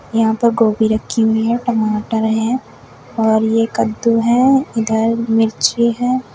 यहां पर गोभी रखी हुई है टमाटर है और ये कद्दू है इधर मिर्ची है।